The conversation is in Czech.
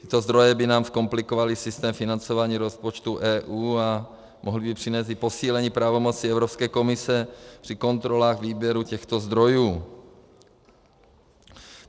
Tyto zdroje by nám zkomplikovaly systém financování rozpočtu EU a mohly by přinést i posílení pravomocí Evropské komise při kontrolách výběru těchto zdrojů.